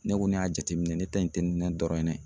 Ne ko ne y'a jateminɛ ne ta in tɛ ne dɔrɔn ye dɛ